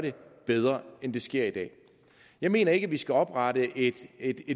bedre end det sker i dag jeg mener ikke at vi skal oprette et et